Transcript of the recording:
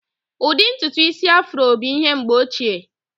Ụdị ntutu Ịsị Afro bụ ihe mgbe ochie.